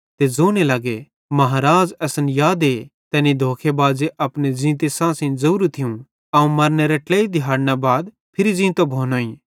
ते ज़ोने लग्गे महाराज़ असन यादे कि तैनी धोखे बाज़े अपने ज़ींते सांसेइं ज़ोरू थियूं अवं मरनेरे ट्लेई दिहाड़ां बाद फिरी ज़ींतो भोनोईं